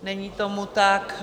Není tomu tak.